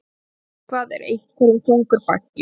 Eitthvað er einhverjum þungur baggi